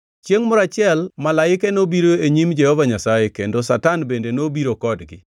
Chiengʼ moro achiel malaike nobiro e nyim Jehova Nyasaye, kendo Satan bende nobiro kodgi.